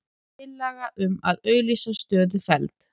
Tillaga um að auglýsa stöðu felld